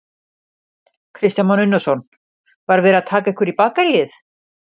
Kristján Már Unnarsson: Var verið að taka ykkur í bakaríið?